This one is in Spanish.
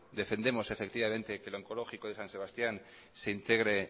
defendemos efectivamente que el onkologikoa de san sebastián se integre